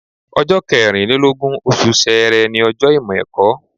Ọjọ́ kẹrìn lé lógún, oṣù Ṣẹẹrẹ ni ọjọ́ Ìmọ̀-ẹ̀kọ́.